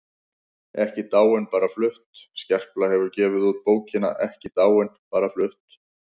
EKKI DÁIN BARA FLUTT Skerpla hefur gefið út bókina Ekki dáin- bara flutt.